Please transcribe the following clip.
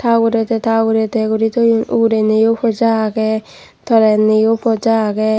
ta ugure te ta ugure te guri toyon ugureniyo poja agey tolenniyo poja agey.